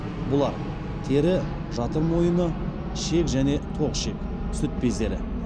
бұлар тері жатыр мойыны ішек және тоқ ішек сүт бездері